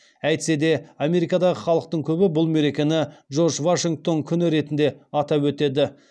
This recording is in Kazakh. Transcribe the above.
әйтсе де америкадағы халықтың көбі бұл мерекені джордж вашингтон күні ретінде атап өтеді